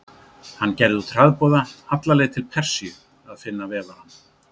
Hann gerði út hraðboða alla leið til Persíu að finna vefarann.